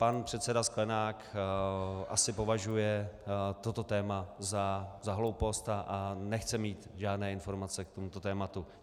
Pan předseda Sklenák asi považuje toto téma za hloupost a nechce mít žádné informace k tomuto tématu.